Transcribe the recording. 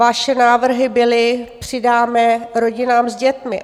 Vaše návrhy byly - přidáme rodinám s dětmi.